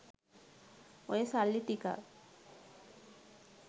ඔය සල්ලි ටිකක්